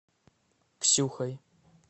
ксюхой